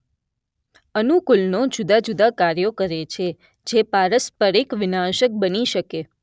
અનુકૂલનો જુદાં જુદાં કાર્યો કરે છે જે પારસ્પરિક વિનાશક બની શકે